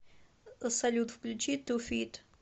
салют включи ту фит